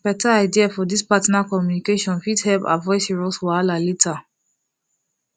beta idea for this partner communication fit help avoid serious wahala later